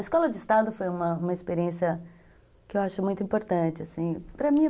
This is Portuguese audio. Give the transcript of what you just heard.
A escola de estado foi uma, uma experiência que eu acho muito importante, assim, para mim.